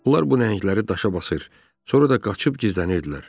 Onlar bu nəhəngləri daşa basır, sonra da qaçıb gizlənirdilər.